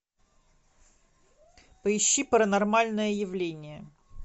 поищи паранормальное явление